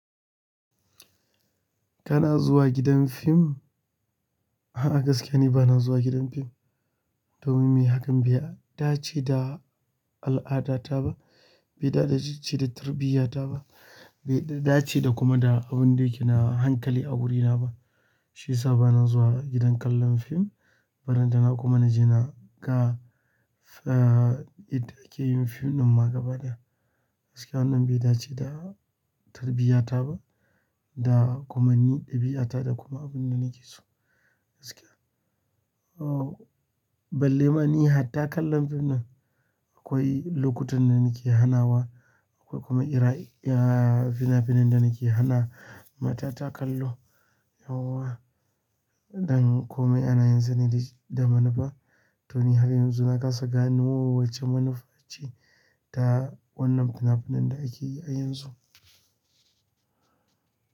Kana zuwa gidan fim? A'a, gaskiya ni bana zuwa gidan fim. Domin me? Hakan bai dace da al'adata ba, bai dace da tarbiyata ba, bai dace da kuma da abin da yake na hankali a wurina ba. Shi ya sa bana zuwa gidan kallon fim, balan tana kuma na je na ga eh, yadda ake yin fim ɗin ma gaba da, gaskiya wannan bai dace da tarbiyata ba da kuma ni ɗabi'ata da kuma abin da nake so. Gaskiya, oh, balle ma ni hatta kallon fim ɗin. Akwai lokutan da nake hanawa, akwai kuma ira, eh, fina-finan da nake hana matata kallo yauwa. Don komai ana yin sa ne da manufa. To ni har yanzu na kasa gani wace manufa ce ta wannan fina-finan da ake yi a yanzu.